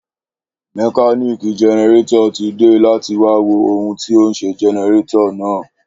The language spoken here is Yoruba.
Mekánìkì generátọ̀r tí dé láti wá wo ohùn tí onṣẹ generátọ̀r náà